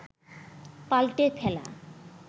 পাল্টে ফেলা